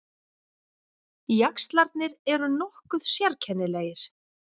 Jaxlarnir eru nokkuð sérkennilegir.